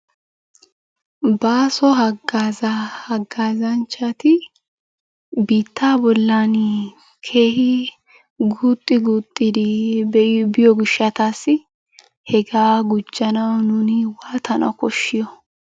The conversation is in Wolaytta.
Bàaso haggaazaa haggaazanchchati biittaa bollan keehi guuxxi guuxxidi biyo gishshataassi hegaa gujjanawu nuuni waatana koshshiyo?